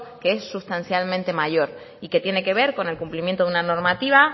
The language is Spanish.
que es sustancialmente mayor y que tiene que ver con el cumplimiento de una normativa